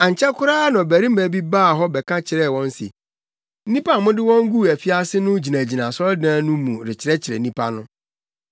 Ankyɛ koraa na ɔbarima bi baa hɔ bɛka kyerɛɛ wɔn se, “Nnipa a mode wɔn guu afiase no gyinagyina asɔredan no mu rekyerɛkyerɛ nnipa no.”